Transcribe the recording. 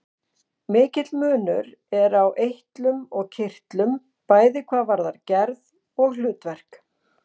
Mikill munur er á eitlum og kirtlum, bæði hvað varðar gerð og hlutverk.